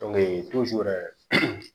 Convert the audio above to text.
yɛrɛ